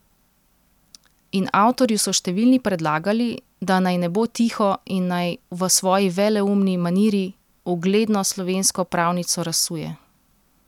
In avtorju so številni predlagali, da naj ne bo tiho in naj v svoji veleumni maniri ugledno slovensko pravnico razsuje.